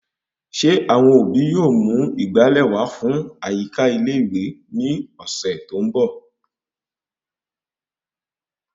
Ṣé àwọn òbí yóò mú ìgbàlè wà fún àyíká ilé ìwé ni ọsẹ tó ń bọ?